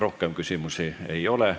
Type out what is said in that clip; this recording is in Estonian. Rohkem küsimusi ei ole.